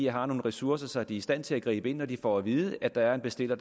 har nogle ressourcer så de er i stand til at gribe ind når de får at vide at der er en bestiller